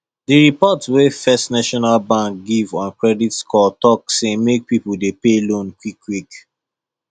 the report wey first national bank give on credit score talk say make people dey pay loan quick quick